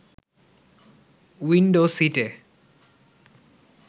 window সিট’-এ